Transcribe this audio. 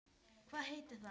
Hvað heitir það?